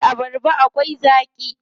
Eh, abarba akwai zaaƙi.